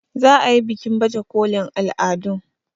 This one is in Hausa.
za a yi bikin baje kolin al'adun